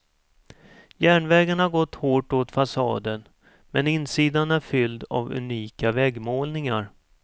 Järnvägen har gått hårt åt fasaden, men insidan är fylld av unika väggmålningar.